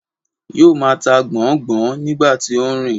Yóo máa ta gbọ̀n-ọ́n-gbọ̀n-ọ́n nígbà tí ó ń rìn.